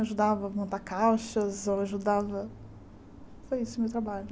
Ajudava a montar caixas, ajudava... Foi esse o meu trabalho.